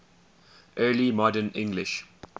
early modern english